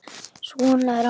Svona er afi.